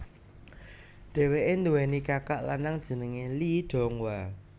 Dhèwèké nduweni kakak lanang jenengé Lee Donghwa